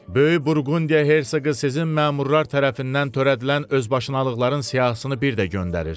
Böyük Burqundiya Herse qı sizin məmurlar tərəfindən törədilən özbaşınalıqların siyahısını bir də göndərir.